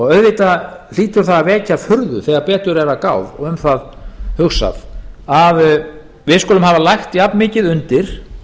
auðvitað hlýtur það að vekja furðu þegar betur er að gáð og um það hugsað að við skulum hafa lagt jafnmikið undir